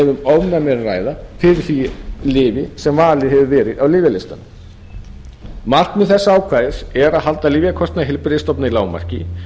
ofnæmi er að ræða fyrir því lyfi sem valið hefur verið á lyfjalistann markmið þessa ákvæðis er að halda lyfjakostnaði heilbrigðisstofnana í lágmarki